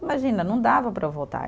Imagina, não dava para voltar.